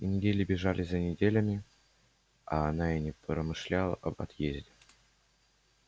и недели бежали за неделями а она и не промышляла об отъезде